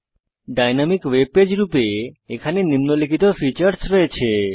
dynamic web page রূপে এখানে নিম্নলিখিত ফীচারস রয়েছে